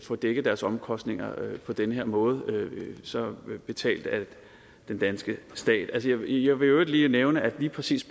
få dækket deres omkostninger på den her måde altså dem betalt af den danske stat jeg vil i øvrigt nævne at lige præcis